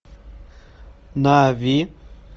нави